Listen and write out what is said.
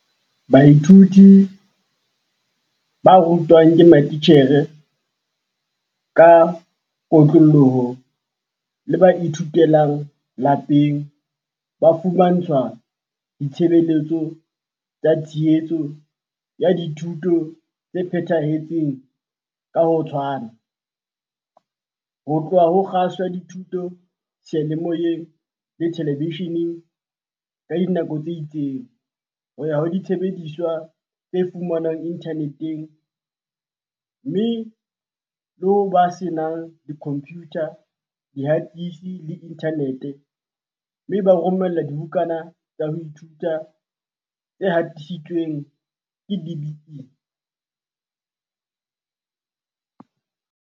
Baithuti ba rutwang ke matitjhere ka kotloloho le ba ithutelang lapeng ba fumantshwa ditshebeletso tsa tshehetso ya dithuto tse phethahetseng ka ho tshwana, ho tloha ho kgaso ya dithuto seyalemoyeng le telebesheneng ka dinako tse itseng, ho ya ho disebediswa tse fumanwang inthaneteng, mme, le ho ba senang dikhompiyutha, dihatisi le inthanete - mme ba romellwa dibukana tsa ho ithuta tse hatisitsweng ke DBE.